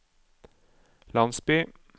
landsby